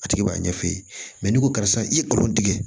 A tigi b'a ɲɛ f'i ye n'i ko karisa i ye kolon tigɛ